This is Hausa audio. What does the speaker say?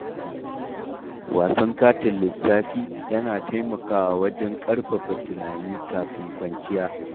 Wasan katin lissafi, yana taimakawa wajen ƙarfafa tunani kafin kwanciya.